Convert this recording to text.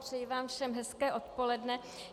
Přeji vám všem hezké odpoledne.